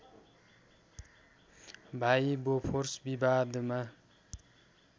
भाइ बोफोर्स विवादमा